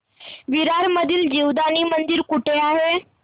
विरार मधील जीवदानी मंदिर कुठे आहे